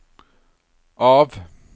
av